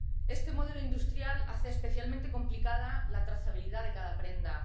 Este modelo industrial hace especialmente complicada la trazabilidad de cada prenda.